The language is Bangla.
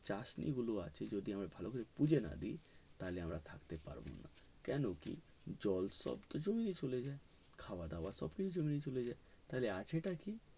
চাষনি গুলো আছে যেগুলো যদি ভালো করে বুজে না দেয় তাইলে এবার থাকতে পারবে না কেন কি জল সব জমিতে চলে যায় খাওয়া দাওয়া সব জমিয়ে চলে যাই তালে আছে টা কি